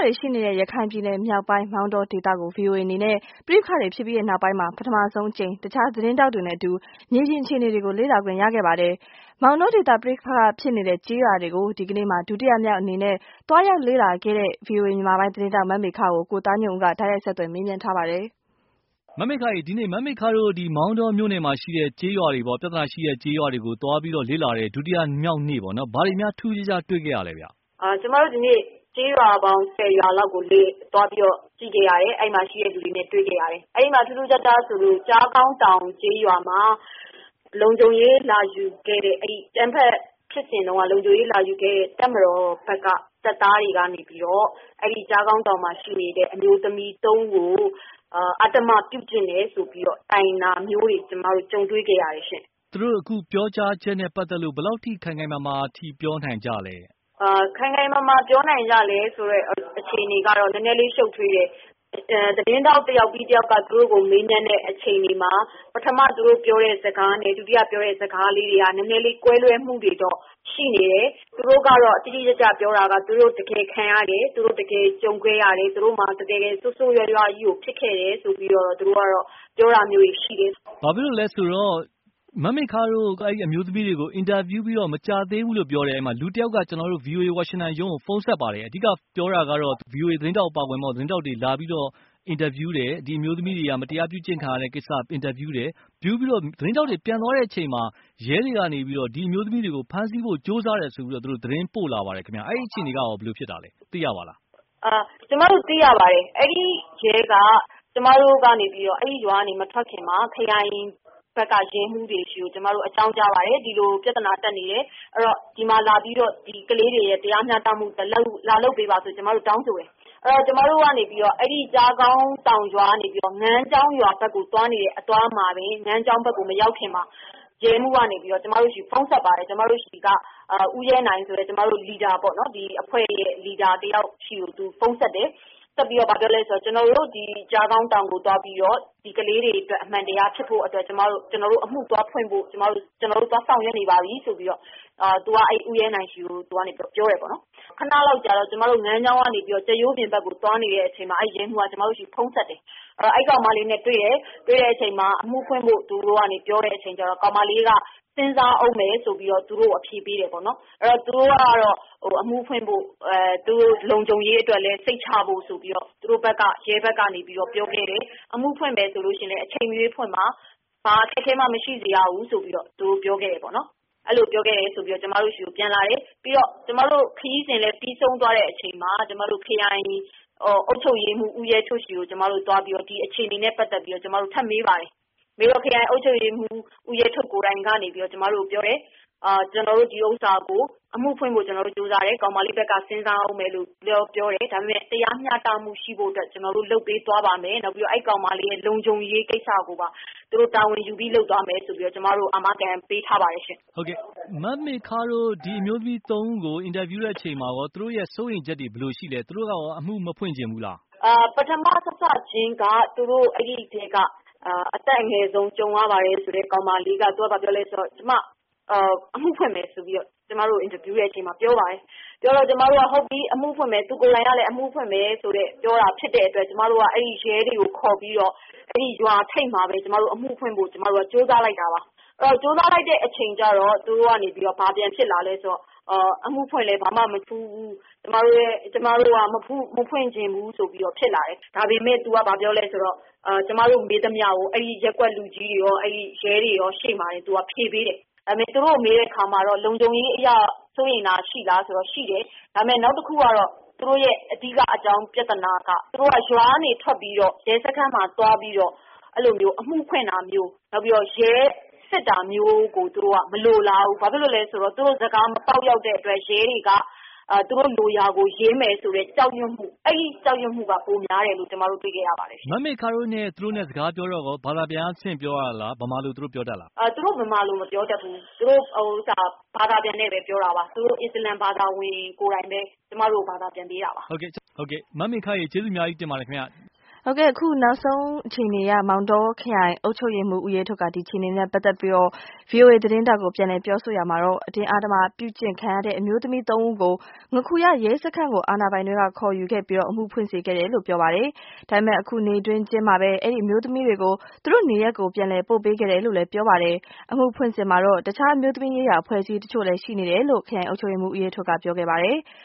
တွေ ရှိနေတဲ့ ရခိုင်ပြည်နယ်မြောက်ပိုင်း မောင်တောဒေသကို VOA အနေနဲ့ ပဋိပက္ခတွေဖြစ်ပြီနောက်ပိုင်းမှာ ပထမဦးဆုံးအကြိမ် တခြားသတင်းထောက်တွေနဲ့အတူ မြေပြင်အခြေအနေတွေကို လေ့လာခွင့်ရခဲ့ပါတယ်။ မောင်တောဒေသ ပဋိပက္ခဖြစ်နေတဲ့ ကျေးရွာတွေကို ဒီကနေ့မှာ ဒုတိယမြောက်နေ့အနေနဲ့ သွားရောက်လေ့လာခဲ့တဲ့ မမေခကို ကိုသားညွန့်ဦးက တိုက်ရိုက်ဆက်သွယ်မေးမြန်းထားပါတယ်။ မမေခရေ ဒီကနေ့ မောင်တောမြို့နယ်မှာရှိတဲ့ ပဋိပက္ခဖြစ်တဲ့ကျေးရွာတွေကို သွားရောက်လေ့လာတဲ့ ဒုတိယမြောက်နေ့ပေါ့နော် ဘာတွေများထူးထူးခြားခြားတွေ့ရသလဲခင်ဗျာ။ ကျမတို့ဒီနေ့ ကျေးရွာပေါင်း ၁၀ ရွာလောက်ကို သွားခဲ့ရတယ်။ အဲဒီမှာ ရှိတဲ့လူတွေနဲ့ တွေ့ခဲ့ရတယ်။ အဲဒီမှာ ထူးထူးခြားခြားဆိုလို့ ကျားခေါင်းတောင် ကျေးရွာမှာ အကြမ်းဖက်ဖြစ်စဉ်တုန်းက လုံခြုံရေးလာယူခဲ့တဲ့ တပ်မတော်ဘက်က တပ်သားတွေကနေပြီးတော့ အဲဒီ ကျားခေါင်းတောင် ကျေးရွာမှာရှိနေတဲ့ အမျိုးသမီး ၃ ဦး ကို အဓိမ္မ ပြုကျင့်တယ်ဆိုပြီးတော့ တိုင်တာမျိုးတွေ ကျမတို့ ကြုံတွေ့ခဲ့ရတယ်ရှင့်။ သူတို့အခုပြောကြားချက်နဲ့ပတ်သက်လို့ ဘယ်လောက် ထိ ခိုင်ခိုင်မာမာပြောနိုင်ကြသလဲ။ ခိုင်ခိုင်မာမာပြောနိုင်ကြသလဲ ဆိုတဲ့အခြေအနေကတော့ နည်းနည်းရှုပ်ထွေးတယ်။ သတင်းထောက် တယောက်ပြီးတယောက်က မေးမြန်းတဲ့အခြေအနေပေါ်မှာ ပထမ သူတို့ပြောတဲ့ စကားနဲ့ ဒုတိယသူတို့ပြောတဲ့စကားက နည်းနည်းလေး ကွဲလွဲမှုတွေကတော့ ရှိနေတယ်။ သူတို့ကတော့ တိတိကျကျ ပြောတာက သူတို့ တကယ်ခံရတယ် သူတို့ တကယ်ကြုံခဲ့ရတယ်။ သူတို့မှာ ဆိုးဆိုးရွားရွားကြီးကို ဖြစ်ခဲ့တယ် ဆိုပြီးတော့ သူတို့ပြောတာမျိုးရှိတယ်။ ဘာဖြစ်လို့လဲဆိုတော့ မမေခတို့ အဲဒီမှာ အင်တာဗျူးပြီး မကြာသေးဘူး လူတယောက်က ကျနော်တို့ ဝါရှင်တန် ရုံးကိုဖုန်းဆက်ပါတယ်။ အဓိက ပြောတာကတော့ VOA သတင်းထောက်အပါအဝင် တခြားသတင်းထောက်တွေက ဒီအမျိုးသမီးတွေက အင်တာလာဗျူးတယ် ဒီလိုမတရားပြုကျင့် ခံရတာကို အင်တာဗျူးတယ်။ သတင်းထောက်တွေ အင်တာဗျူးပြန်သွားတဲ့အချိန်မှာ ရဲတွေကနေပြီးတော့ ဒီ အမျိုးသမီးတွေကို ဖမ်းဆီးဖို့ ကြိုးစားတယ်ဆိုပြီးတော့ သတင်းပို့လာပါတယ်ခင်ဗျာ ။ အဲဒီအခြေအနေကရော ဘယ်လိုဖြစ်တာပါလဲ။ သိရပါသလား။ ကျမတို့သိရပါတယ်။ အဲဒီ ကျမတို့ အဲဒီရွာကနေပြီးတော့ မထွက်ခင်မှာ ကျမတို့ဘက်ကနေပြိးတော့ ခရိုင်ဘက်က ရဲမှူးတွေဆီကို အကြောင်းကြားပါတယ်။ ဒီမှာပြဿနာ တတ်နေတယ် ဒီမှာလာပြီးတော့ တရားမျှတမှု လာလုပ်ပေးပါလို့ ကျမတို့ တောင်းဆိုတယ်။ ကျမတို့ ကျားခေါင်းတောင် ကျေးရွာကနေပြီးတော့ ငန်းချောင်းရွာဘက်ကို သွားနေတဲ့လမ်းမှာ ငန်းချောင်းရွာဘက်ကိုမရောက်ခင်မှာ ရဲမှူးကနေပြီးတော့ ကျမတို့ကို ဖုန်းဆက်ပါတယ်။ ကျမတို့ဆီက အဖွဲ့ခေါင်းဆောင်ဖြစ်တဲ့ ဦးရဲနိုင်ကိုဖုန်းဆက်တယ်။ ဆက်ပြီးတော့ ဘာပြောသလဲဆိုတော့ ကျနော်တို့ ဒီ ကျားခေါင်းတောင် ကျေးရွာကသူတွေအတွက် ဒီအမှန်တရားဖြစ်ဖို့ ကျနော်တို့အမှုသွားဖွင့်ဖို့ ကျနော်တို့ သွားစောင့်ရပ်နေပါပြီဆိုပြီး သူကပြောပါတယ်။ ခနလောက်ကြာတော့ ကျမတို့ ငန်းချောင်းရွာဘက်ကနေ ကြက်ရိုးပြင်ရွာကိုသွားနေတဲ့ အချိန်မှာ အဲဒီရဲမှူးက ကျမတို့ဆီကို ဖုန်းဆက်တယ်။ အဲဒီကောင်မလေးနဲ့တွေ့တယ် တွေ့တော့ အမှှုဖွင့်ဖို့ ပြောတဲ့အချိန်မှာ ကောင်မလေးက စဉ်းစားဦးမယ်ဆိုပြီးတော့ သူတို့ကို အဖြေပေးတယ်ပေါ့နော်။ သူတို့ကတော့ အမှှုဖွင့်ဖို့ လုံခြုံရေးအတွက်လည်း စိတ်ချဖို့ဆိုပြီးတော့ ရဲဘက်ကနေပြီးတော့ ပြောခဲ့တယ် အမှုဖွင့်မယ်ဆိုရင်လည်း အချိန်မရွေးဖွင့်ပါ။ ဘာအခက်အခဲမှ မရှိစေရဘူးဆိုပြီးတော့ အဲဒီလိုပြောခဲ့တယ်ဆိုပြီးတော့ ကျမတို့ဆီကို ဖုန်းဆက်အကြောင်းကြားပါတယ်။ ကျမတို့ ခရီးစဉ်လည်း ပြီးဆုံးသွားတဲ့အချိန်မှာ ခရိုင်အုပ်ချုပ်ရေးမှူး ဦးရဲထွဋ် ဆီကို ဒီအခြေအနေနဲ့ ပတ်သက်ပြီး သွားပြီးမေးပါတယ်။ ခရိုင်အုပ်ချုပ်ရေးမှူး ဦးရဲထွဋ် ကိုယ်တိုင်ကနေပြီးတော့ ကျမတို့ ကိုပြောတယ် ၊ “ကျနော်တို့ ဒီဟာကို အမှုဖွင့်ဖို့ကြိုးစားတယ်။ ကောင်မလေးက စဉ်းစားမယ်လို့ပြောတယ်၊ ဒါပေမယ့် တရားမျှတမှုရှိဖို့ ကျနော်တို့လုပ်ပေးပါမယ် နောက်ပြီးတော့ ကောင်မလေးရဲ့ လုံခြုံရေးကိစ္စကိုပါ တာဝန်ယူပြီးလုပ်သွားမယ်” ဆိုပြီးတော့ ကျမတို့ကို အာမခံ ပေးထားပါတယ်ရှင့်။ ဟုတ်ကဲ့ မမေခတို့ ဒီအမျိုးသမီး ၃ ဦးကို အင်တာဗျူးတဲ့ အချိန်မှာ သူတို့ စိုးရိမ်ချက်တွေဘယ်လိုရှိသလဲ၊ သူတို့ အမှုမဖွင့်ချင်ဘူးလား။ ပထမစစချင်း အဲဒီကြုံရတဲ့အထဲက အသက်အငယ်ဆုံးက ဘာပြောသလဲဆိုတော့ ကျမအမှုဖွင့်မယ်ဆိုပြီးတော့ ကျမတို့ အင်တာဗျူးတဲ့အချိန်မှာပြောပါတယ်။ သူကိုယ်တိုင်အမှုှဖွင့်မယ် လို့ပြောတာဖြစ်တဲ့အတွက် ကျမတို့က အဲဒီရဲတွေကို ခေါ်ပြီးတော့ ရွာထိပ်မှာပဲ ကျမတို့ အမှုဖွင့်ဖို့ ကြိုးစားလိုက်တာပါ။ ကြိုးစားလိုက်တဲ့အချိန်ကျတော့ သူတို့ကနေပြီးတော့ ဘာပြန်ဖြစ်လာသလဲဆိုတော့ အမှုဖွင့်လည်း ဘာမှ မထူးဘူး ကျမတို့က မဖွင့်ချင်ဘူးဆိုပြီးတော့ ဖြစ်လာတယ်။ ဒါပေမယ့် သူက ဘာပြောသလဲဆိုတော့ ကျမတို့ မေးသမျှကို ရပ်ကွက်လူကြီးတွေ၊ ရဲတွေရှေ့မှာရော ဖြေပေးတယ်။ သူတို့ကိုမေးတဲ့အခါမှာတော့ လုံခြုံရေးအရ စိုးရမ်တာရှိသလားဆိုတော့ ရှိတယ်။ ဒါပေမယ့် နောက်တခု သူတို့ရဲ့ အဓိကပြဿနာက သူတို့က ရွာကနေထွက်ပြီးတော့ ရဲစခန်းမှာ သွားပြီးတော့ အမှုဖွင့်တာမျိုး ၊ ရဲစစ်တာမျိုးကို သူတို့က မလိုလားဘူး။ ဘာဖြစ်လို့လဲဆိုတော့ သူတို့စကားမပေါက်ရောက်တဲ့အတွက် ရဲတွေက သူတို့လိုရာကို ရေးမယ်ဆိုတဲ့ ကြောက်ရွံ့မှု အဲဒါပိုများတယ်လို့ ကျမတို့ တွေ့ခဲ့ရပါတယ်။ မမေခတို့ သူတို့နဲ့ စကားပြောတော့ ဘာသာပြန်က တဆင့်ပြောရတာလား ၊ သူတို့ မြန်မာလိုပြောတတ်သလား။ သူတို့ မြန်မာလို မပြောတတ်ဘူး။ သူတို့ ဘာသာနဲ့ပြောတာပါ။ သူတို့ အစ္စလာမ်ဘာသာဝင်ကိုယ်တိုင်ပဲ ကျမတို့ကို ဘာသာပြန်ပေးတာပါ။ မမေခ ရေ ကျေးဇူးတင်ပါတယ်။ အခု နောက်ဆုံးအခြေအနေအရ မောင်တောခရိုင်အုပ်ချုပ်ရေးမှုး ဦးရဲထွဋ်က ဒီအခြေအနေတွေနဲ့ပ့တ်သက်လို့ ဗွီအိုအေ သတင်းထောက်ကို ပြန်လည်ပြောဆိုရာမှာ - အတင်းအဓမ္မပြုကျင့်ခံရတဲ့ အမျိုးသမီးသုံးဦးကို ငါးခူရ ရဲစခန်းကို အာဏာပိုင်တွေက ခေါ်ယူခဲ့ပြီး အမှုဖွင့်စေခဲ့တယ်လို့ ဆိုပါတယ်။ ဒါပေမယ့် အခု နေ့တွင်းချင်းမှာပဲ အဲဒီအမျိုးသမီးတွေကို သူတို့နေရပ်ကို ပြန်လည်ပို့ပေးခဲ့တယ်လို့လည်း ပြောပါတယ်။ အမှုဖွင့်စဉ်မှာတော့ အခြား အမျိုးသမီးရေးရာအဖွဲ့အစည်းအချို့လည်း ရှိနေတယ်လို့ ခရိုင်အုပ်ချုပ်ရေးမှုး ဦးရဲထွဋ်က ပြောပါတယ်။